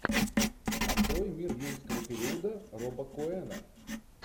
открой мир юрского периода роба коэна